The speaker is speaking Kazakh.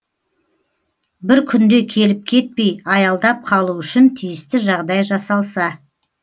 бір күнде келіп кетпей аялдап қалу үшін тиісті жағдай жасалса